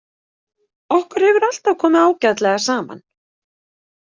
Okkur hefur alltaf komið ágætlega saman.